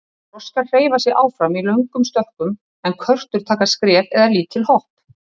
Froskar hreyfa sig áfram í löngum stökkum en körtur taka skref eða lítil hopp.